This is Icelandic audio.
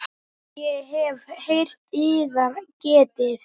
Ég hef heyrt yðar getið.